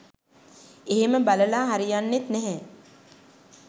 එහෙම බලලා හරියන්නෙත් නැහැ.